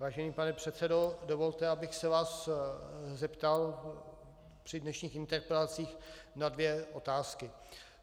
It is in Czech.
Vážený pane předsedo, dovolte, abych se vás zeptal při dnešních interpelacích na dvě otázky.